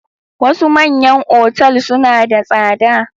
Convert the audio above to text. Wasu manyan otal suna da tsada.